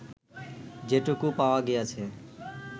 যেটুকু পাওয়া গিয়াছে